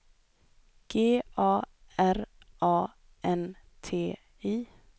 G A R A N T I